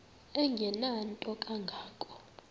engenanto kanga ko